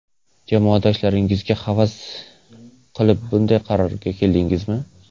Jamoadoshlaringizga havas qilib bunday qarorga keldingizmi?